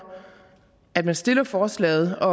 at man stiller forslaget og